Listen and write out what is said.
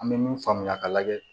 An bɛ min faamuya ka lajɛ